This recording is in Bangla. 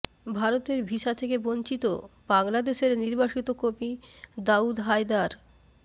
ভারতের ভিসা থেকে বঞ্চিত বাংলাদেশের নির্বাসিত কবি দাউদ হায়দার